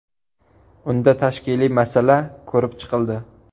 Unda tashkiliy masala ko‘rib chiqildi.